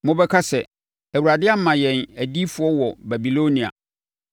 Mobɛka sɛ, “ Awurade ama yɛn adiyifoɔ wɔ Babilonia,”